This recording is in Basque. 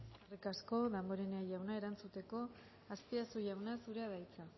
eskerrik asko damborenea jauna erantzuteko azpiazu jauna zurea da hitza